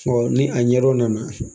ni an ɲɛrɛw nana